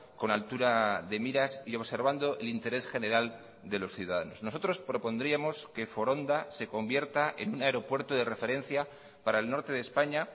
con altura de miras y observando el interés general de los ciudadanos nosotros propondríamos que foronda se convierta en un aeropuerto de referencia para el norte de españa